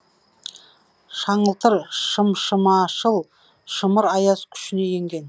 шаңылтыр шымшымашыл шымыр аяз күшіне енген